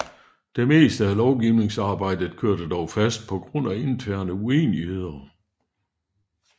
Det meste af lovgivningsarbejdet kørte dog fast på grund af interne uenigheder